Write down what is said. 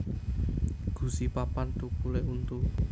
Gusi papan thukulé untu